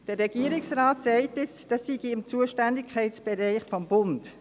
Der Regierungsrat sagt nun, dies liege im Zuständigkeitsbereich des Bundes.